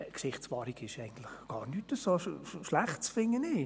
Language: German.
Gesichtswahrung ist eigentlich gar nichts so Schlechtes, finde ich.